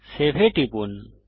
save এ টিপুন